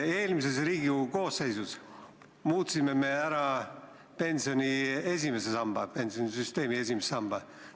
Eelmises Riigikogu koosseisus me muutsime ära pensionisüsteemi esimese samba.